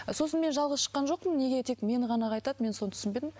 сосын мен жалғыз шыққан жоқпын неге тек мені ғана ақ айтады мен соны түсінбедім